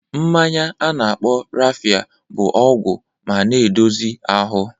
Mmanya a na-akpọ Raffia bụ ọgwụ ma na-edozi ahụ